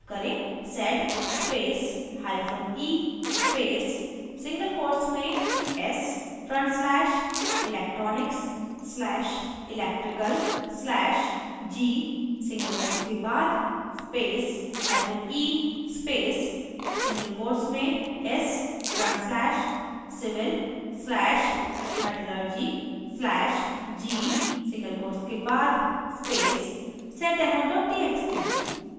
type करें: